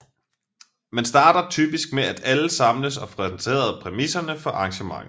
Man starter typisk med at alle samles og får præsenteret præmisserne for arrangementet